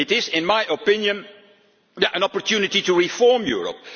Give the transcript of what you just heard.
way. In my opinion, it is an opportunity to reform